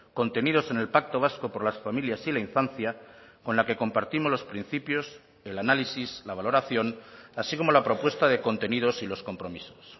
contenidos en el pacto vasco por las familias y la infancia con la que compartimos los principios el análisis la valoración así como la propuesta de contenidos y los compromisos